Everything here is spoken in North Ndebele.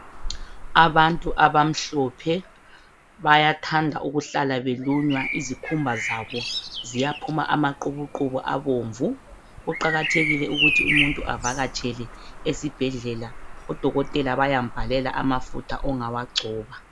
Abantu abamhlophe bayathanda ukuhlala belunywa izikhumba zabo ziyaphuma amaqubuqubu abomvu. Kuqakathekile ukuthi umuntu avakatshele esibhedlela, odokotela bayambhalela amafutha ongawagcoba.